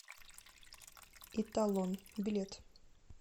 италон билет